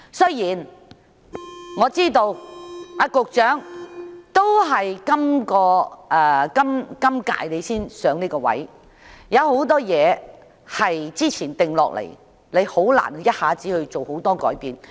雖然我知道局長是在今屆才上任，有很多事情是之前已經定下，難以一下子作出大量改變。